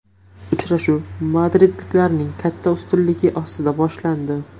Uchrashuv madridliklarning katta ustunligi ostida boshlandi.